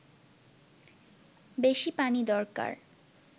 বেশি পানি দরকার